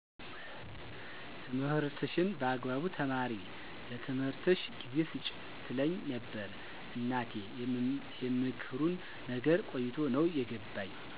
ትምህርትሽን በአግባቡ ተማሪ ለትምህርትሽ ጊዜ ስጪ ትለኝ ነበር እናቴ የምክሩን ነገር ቆይቶ ነው የገባኝ